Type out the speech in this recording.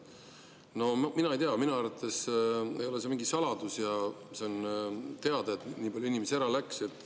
No mina ei tea, minu arvates ei ole see mingi saladus ja see on teada, et nii palju inimesi ära läks.